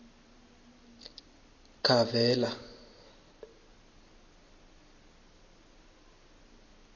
kavela